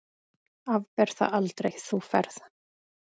Afber það aldrei, þú ferð.